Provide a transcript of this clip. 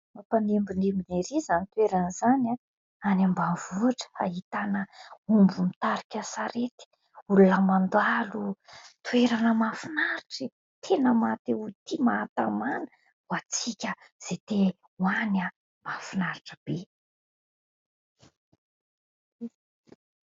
Mampanembonembona ery izany toerana izany a, any ambanivohitra ahitana omby mitarika sarety, olona mandalo, toerana mahafinaritra, tena maha-te ho tia, mahatamana, ho antsika izay te ho any mahafinaritra be.